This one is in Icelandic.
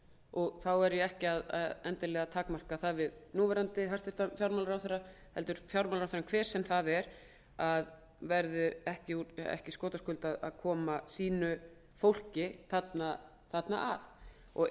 og þá takmarka ég það ekki endilega við núverandi hæstvirtum fjármálaráðherra heldur verður fjármálaráðherranum hver sem hann er ekki skotaskuld úr að koma sínu fólki þarna að ef